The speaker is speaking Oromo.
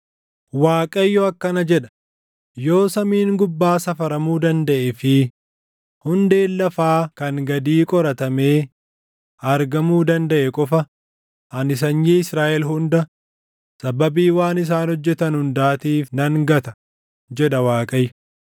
Waaqayyo akkana jedha: “Yoo samiin gubbaa safaramuu dandaʼee fi hundeen lafaa kan gadii qoratamee argamuu dandaʼe qofa ani sanyii Israaʼel hunda sababii waan isaan hojjetan hundaatiif nan gata” jedha Waaqayyo.